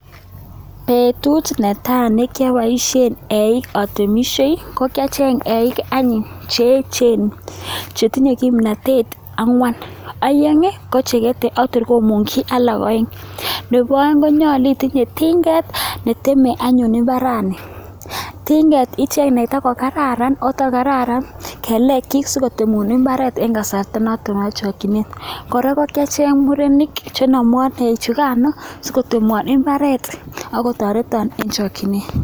Betut netai nekioboshien eik atomishie kokiacheng eik anyuun Chechen. Chetinye kimnotet, angwan, peng ko cheketee ak tor komongyii alak oeng. nebo oeng konyolu itinye tinget, netemee anyu imbarani. Tinget icheng netakokararan ako takokararan kelekyik asikotemuun imbarer en kasarta notok neboo chokchinet. Kora ko kiacheng murenik chenomwon eichukan sikotemwo imbaret ak kotoreton en chokchinet.